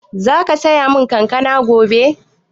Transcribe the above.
Zaka siya mun kankana gobe?